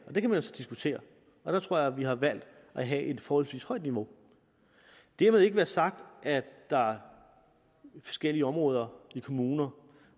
og det kan man så diskutere jeg tror at vi har valgt at have et forholdsvis højt niveau og dermed ikke være sagt at der i forskellige områder i kommuner